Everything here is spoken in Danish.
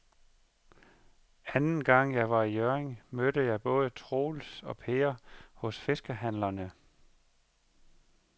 Anden gang jeg var i Hjørring, mødte jeg både Troels og Per hos fiskehandlerne.